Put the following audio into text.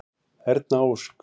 Erna Ósk.